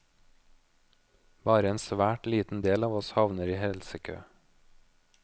Bare en svært liten del av oss havner i helsekø.